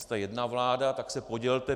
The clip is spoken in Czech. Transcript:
Jste jedna vláda, tak se podělte.